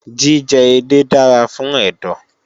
Jíjẹ edé dára fún ẹ̀dọ̀